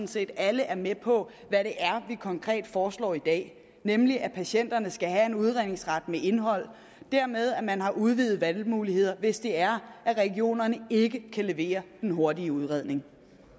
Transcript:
set at alle er med på hvad det er vi konkret foreslår i dag nemlig at patienterne skal have en udredningsret med indhold og dermed at man har udvidede valgmuligheder hvis det er at regionerne ikke kan levere den hurtige udredning